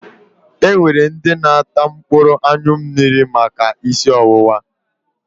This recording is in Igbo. E nwere ndị na-ata mkpụrụ anyụ mmiri maka ísí ọwụwa.